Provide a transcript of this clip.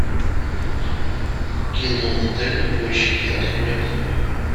кино дальнобойщики открой